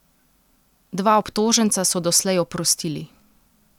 Dva obtoženca so doslej oprostili.